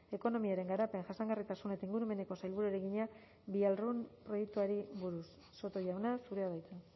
ekonomiaren garapen jasangarritasun eta ingurumeneko sailburuari egina víairun proiektuari buruz soto jauna zurea da hitza